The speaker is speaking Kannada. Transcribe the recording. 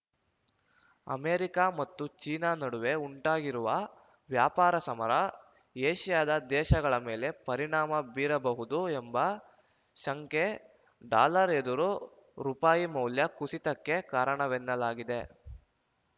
ಅಮೆರಿಕ ಮತ್ತು ಚೀನಾ ನಡುವೆ ಉಂಟಾಗಿರುವ ವ್ಯಾಪಾರ ಸಮರ ಏಷ್ಯಾದ ದೇಶಗಳ ಮೇಲೆ ಪರಿಣಾಮ ಬೀರಬಹುದು ಎಂಬ ಶಂಕೆ ಡಾಲರ್‌ ಎದುರು ರುಪಾಯಿ ಮೌಲ್ಯ ಕುಸಿತಕ್ಕೆ ಕಾರಣವೆನ್ನಲಾಗಿದೆ